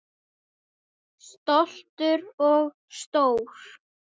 Stoltur og stór.